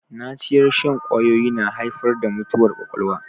Naciyar shan ƙwawoyi na haifar da mutuwar ƙwaƙwalwa